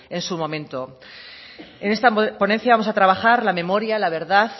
en su momento en esta ponencia vamos a trabajar la memoria la verdad